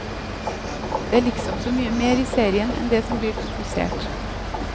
Det er liksom så mye mer i serien enn det som blir fokusert.